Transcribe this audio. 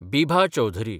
Bibha Chaudhary